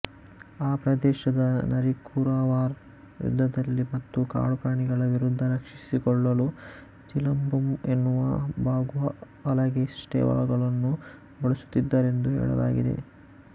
ಆ ಪ್ರದೇಶದ ನರಿಕುರಾವರ್ ಯುದ್ಧದಲ್ಲಿ ಮತ್ತು ಕಾಡು ಪ್ರಾಣಿಗಳ ವಿರುದ್ಧ ರಕ್ಷಿಸಿಕೊಳ್ಳಲು ಚಿಲಂಬಂಬೂ ಎನ್ನುವ ಬಾಗುಹಲಗೆಸ್ಟೇವ್ಗಳನ್ನು ಬಳಸುತ್ತಿದ್ದರೆಂದು ಹೇಳಲಾಗಿದೆ